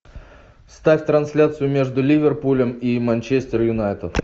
ставь трансляцию между ливерпулем и манчестер юнайтед